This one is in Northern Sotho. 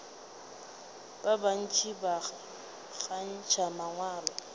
ba bantši ba kgantšha mangwalo